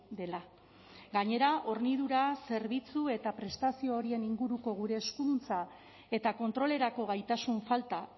dela gainera hornidura zerbitzu eta prestazio horien inguruko gure eskuduntza eta kontrolerako gaitasun falta